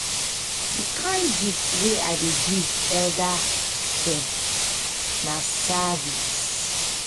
di kain gift wey i dey give elda dem na service.